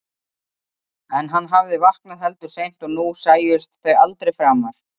En hann hafði vaknað heldur seint og nú sæjust þau aldrei framar.